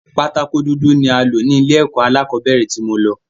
Pátákó dúdú ni a lọ̀ ni ilé ẹ̀kọ́ alákọ̀bẹ́rẹ̀ tí mo lọ